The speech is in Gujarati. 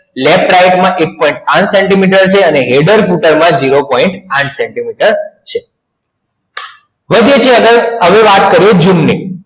left right માં એક point પાંચ સેન્ટીમીટર છે header footer માં જીરો point પાંચ સેન્ટીમીટર છે હવે વાત કરીયે zoom ની